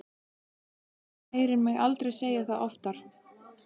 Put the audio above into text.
Hann heyrir mig aldrei segja það oftar.